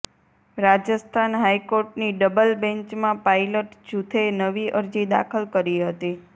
રાજસ્થાન હાઈકોર્ટની ડબલ બેન્ચમાં પાયલટ જુથે નવી અરજી દાખલ કરી હતી